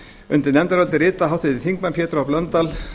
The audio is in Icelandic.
undir nefndarálitið rita háttvirtir þingmenn pétur h blöndal